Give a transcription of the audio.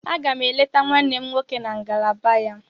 Aga m eleta nwanne m nwoke na ngalaba ya.